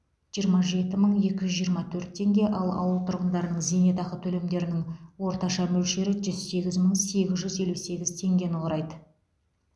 жиырма жеті мың екі жүз жиырма төрт теңге ал ауыл тұрғындарының зейнетақы төлемдерінің орташа мөлшері жүз сегіз мың сегіз жүз елу сегіз теңгені құрайды